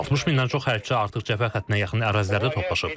160 mindən çox hərbiçi artıq cəbhə xəttinə yaxın ərazilərdə toplaşıb.